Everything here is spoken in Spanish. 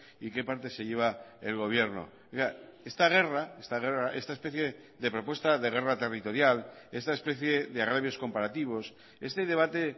y qué parte se lleva el gobierno esta guerra esta guerra esta especie de propuesta de guerra territorial esta especie de agravios comparativos este debate